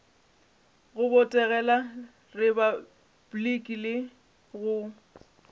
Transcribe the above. go botegela repabliki le go